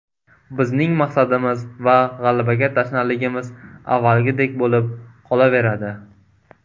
Bizning maqsadimiz va g‘alabaga tashnaligimiz avvalgidek bo‘lib qolaveradi.